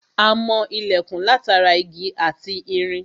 A mọ ilẹ̀kùn látara igi ati irin